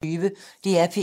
DR P1